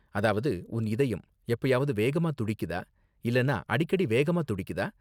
அதாவது, உன் இதயம் எப்பயாவது வேகமா துடிக்குதா இல்லனா அடிக்கடி வேகமா துடிக்குதா?